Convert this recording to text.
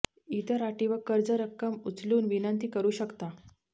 इतर अटी व कर्ज रक्कम उचलून विनंती करू शकता